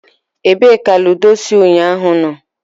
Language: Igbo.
ebee ka ludo si unyahu no?